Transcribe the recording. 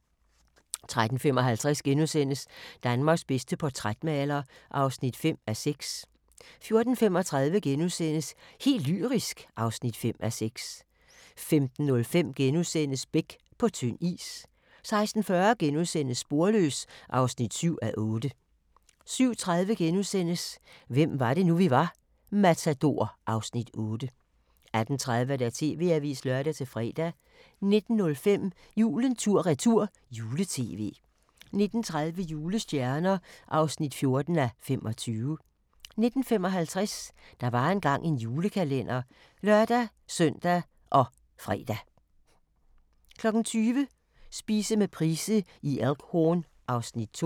13:55: Danmarks bedste portrætmaler (5:6)* 14:35: Helt lyrisk (5:6)* 15:05: Beck – på tynd is * 16:40: Sporløs (7:8)* 17:30: Hvem var det nu, vi var: Matador (Afs. 8)* 18:30: TV-avisen (lør-fre) 19:05: Julen tur-retur - jule-tv 19:30: Julestjerner (14:25) 19:55: Der var engang en julekalender (lør-søn og fre) 20:00: Spise med Price i Elk Horn (Afs. 2)